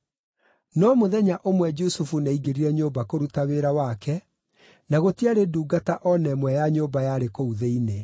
No mũthenya ũmwe Jusufu nĩaingĩrire nyũmba kũruta wĩra wake, na gũtiarĩ ndungata o na ĩmwe ya nyũmba yarĩ kũu thĩinĩ.